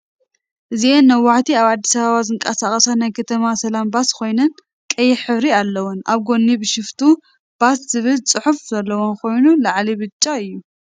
እዚአን ነዋሕቲ አብ አዲስ አበባ ዝንቀሳቀሳ ናይ ከተማ ሰላም ባስ ከይነን ቀይሕ ሕብሪ አለወን፡፡ አብ ጎኒ ቢሸፍቱ ባስ ዝብል ፅሑፍ ዘለወን ኮይኑ ላዕለን ብጫ እዩ፡፡